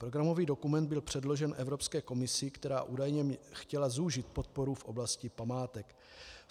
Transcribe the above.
Programový dokument byl předložen Evropské komisi, která údajně chtěla zúžit podporu v oblasti památek.